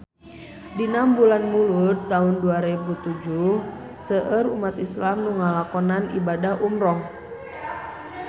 Dina bulan Mulud taun dua rebu tujuh seueur umat islam nu ngalakonan ibadah umrah